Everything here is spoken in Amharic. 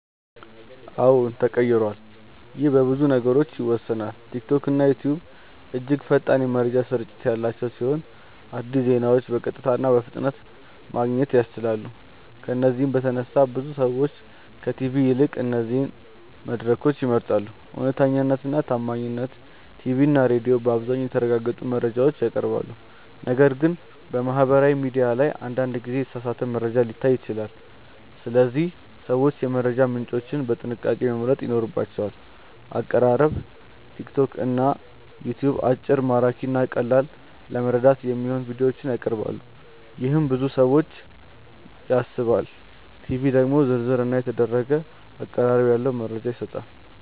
አዎን ተቀይሯል ይህ በብዙ ነገሮች ይወሰናል። ቲክቶክና ዩትዩብ እጅግ ፈጣን የመረጃ ስርጭት ያላቸው ሲሆን አዲስ ዜናዎችን በቀጥታ እና በፍጥነት ማግኘት ያስችላሉ። ከዚህ በተነሳ ብዙ ሰዎች ከቲቪ ይልቅ እነዚህን መድረኮች ይመርጣሉ። እውነተኛነት እና ታማኝነት ቲቪ እና ሬዲዮ በአብዛኛው የተረጋገጡ መረጃዎችን ያቀርባሉ፣ ነገር ግን በማህበራዊ ሚዲያ ላይ አንዳንድ ጊዜ የተሳሳተ መረጃ ሊታይ ይችላል። ስለዚህ ሰዎች የመረጃ ምንጮቻቸውን በጥንቃቄ መምረጥ ይኖርባቸዋል። አቀራረብ ቲክቶክ እና ዩትዩብ አጭር፣ ማራኪ እና ቀላል ለመረዳት የሚሆኑ ቪዲዮዎችን ያቀርባሉ፣ ይህም ብዙ ሰዎችን ይስባል። ቲቪ ደግሞ ዝርዝር እና የተደረገ አቀራረብ ያለው መረጃ ይሰጣል።